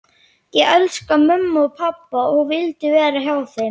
Ég elskaði mömmu og pabba og vildi vera hjá þeim.